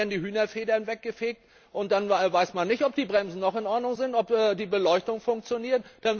Dann werden die Hühnerfedern weggefegt und man weiß nicht, ob die Bremsen noch in Ordnung sind, ob die Beleuchtung funktioniert.